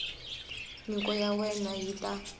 nyiko ya wena yi ta